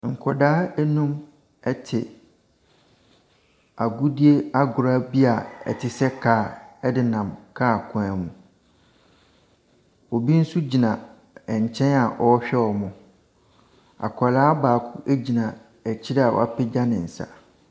Nkwadaa num te agodie agorɔ bi a ɛte sɛ car de nam car kwan mu. Obi nso gyina nkyɛn a ɔrehwɛ wɔn. Akwaraa baako gyina akyire a wapegya ne nsa.